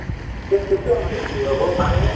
তে তেতিয়া হলে কি হব মানুহে